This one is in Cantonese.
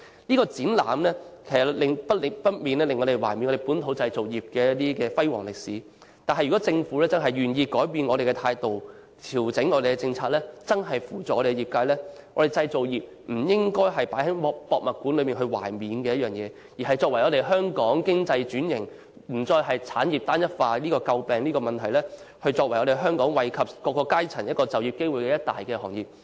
這個展覽難免令人緬懷本土製造業的輝煌歷史，如果政府願意改變態度、調整政策，扶助業界，香港製造業便不只是放在博物館內緬懷的東西，而是促進香港經濟轉型，讓香港不再因產業單一化而遭人詬病，創造惠及社會各階層就業機會的一大行業。